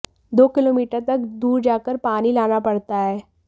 दो किलोमीटर तक दूर जाकर पानी लाना पड़ता है